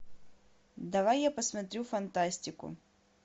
давай я посмотрю фантастику